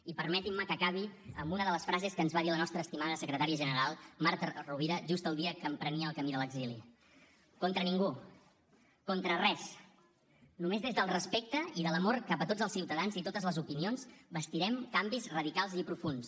i permetin me que acabi amb una de les frases que ens va dir la nostra estimada secretària general marta rovira just el dia que emprenia el camí de l’exili contra ningú contra res només des del respecte i de l’amor cap a tots els ciutadans i totes les opinions bastirem canvis radicals i profunds